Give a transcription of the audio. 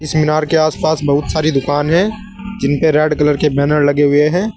इस मीनार के आस पास बहुत सारी दुकान है जिनपे रेड कलर के बैनर लगे हुए हैं।